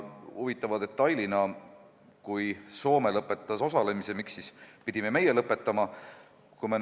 Miks siis, kui Soome lõpetas osalemise, pidime meie lõpetama?